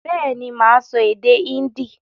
Bẹ́ẹ̀ ni, mà á sọ èdè Hindi